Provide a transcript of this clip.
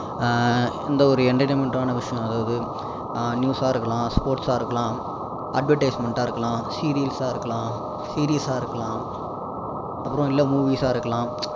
ஆஹ் இந்த ஒரு entertainment டான விஷயம் அதாவது ஆஹ் news சா இருக்கலாம் sports சா இருக்கலாம் advertisement சா இருக்கலாம் serials சா இருக்காலாம் series சா இருக்கலாம் அப்பறோம் இல்லை movies சா இருக்கலாம்